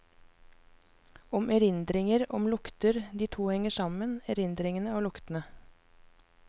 Om erindringer, om lukter, de to henger sammen, erindringene og luktene.